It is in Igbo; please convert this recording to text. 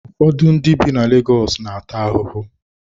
Ụfọdụ ndị bi na Legọs na-ata ahụhụ.